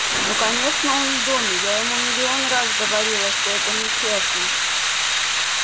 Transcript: ну конечно он в доме я ему миллион раз говорила что это нечестно